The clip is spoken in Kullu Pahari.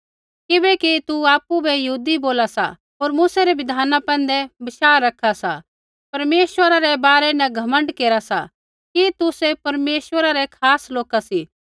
किबैकि तू आपु बै यहूदी बोला सा होर मूसै रै बिधाना पैंधै बशाह रखा सा परमेश्वरा रै बारै न घमण्ड केरा सी कि तुसै परमेश्वरा रै खास लोका सी